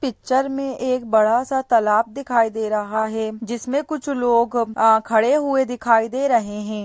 Picture में एक बड़ा सा तालाब दिखाई दे रहा है जिसमें कुछ लोग अ खड़े हुए दिखाई दे रहे हैं।